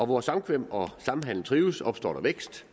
hvor samkvem og samhandel trives opstår der vækst